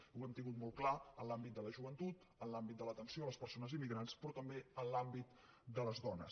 i ho hem tingut molt clar en l’àmbit de la joventut en l’àmbit de l’atenció a les persones immigrants però també en l’àmbit de les dones